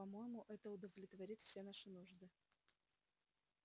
по-моему это удовлетворит все ваши нужды